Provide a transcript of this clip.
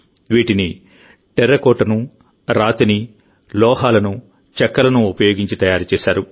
వీటిని టెర్రకోటనురాతిని లోహాలను చెక్కలను ఉపయోగించి తయారు చేశారు